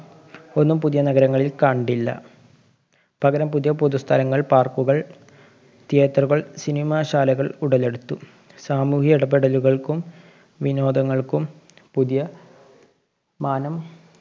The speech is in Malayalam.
ഒന്നും പുതിയ നഗരങ്ങളില്‍ ക~ണ്ടില്ല. പകരം പുതിയ പുതു സ്ഥലങ്ങള്‍ park കള്‍ theatre കള്‍ cinema ശാലകള്‍ ഉടലെടുത്തു. സാമൂഹ്യ ഇടപെടലുകള്‍ക്കും വിനോദങ്ങള്‍ക്കും പുതിയ മാനം